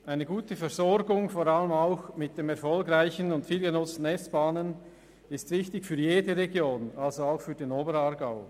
Eine gute Versorgung, vor allem auch mit den erfolgreichen und viel genutzten SBahnen, ist für jede Region wichtig, also auch für den Oberaargau.